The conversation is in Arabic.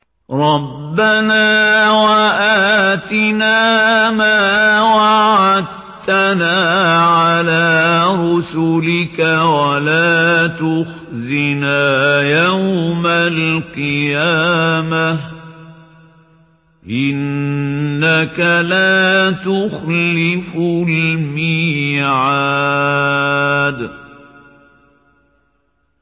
رَبَّنَا وَآتِنَا مَا وَعَدتَّنَا عَلَىٰ رُسُلِكَ وَلَا تُخْزِنَا يَوْمَ الْقِيَامَةِ ۗ إِنَّكَ لَا تُخْلِفُ الْمِيعَادَ